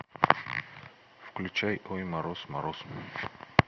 включай ой мороз мороз